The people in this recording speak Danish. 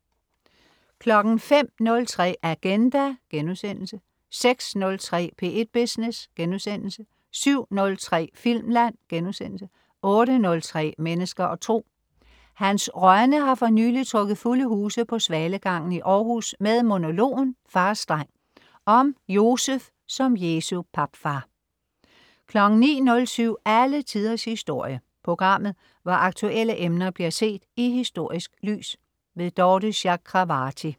05.03 Agenda* 06.03 P1 Business* 07.03 Filmland* 08.03 Mennesker og Tro. Hans Rønne har for nylig trukket fulde huse på Svalegangen i Århus med monologen "Fars dreng" om Josef som Jesu papfar 09.07 Alle Tiders Historie. Programmet hvor aktuelle emner bliver set i historisk lys. Dorthe Chakravarty